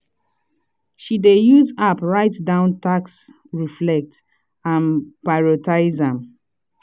she dey use app write down tasks reflect and prioritize am.